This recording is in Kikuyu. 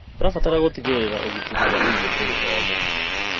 Tũrabatara gũtigĩrĩra ũgitĩri wa irio kũrĩ othe.